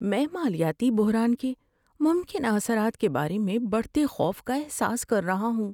میں مالیاتی بحران کے ممکنہ اثرات کے بارے میں بڑھتے خوف کا احساس کر رہا ہوں۔